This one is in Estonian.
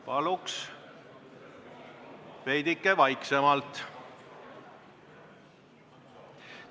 Paluks veidike vaiksemalt!